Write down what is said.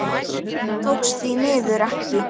Það tókst því miður ekki.